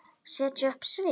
Setja upp svip?